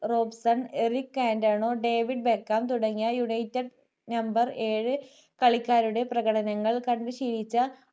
Robson Eric Cantona David Beckham തുടങ്ങിയ jersey number ഏഴു കളിക്കാരുടെ പ്രകടങ്ങൾ കണ്ടു ശീലിച്ച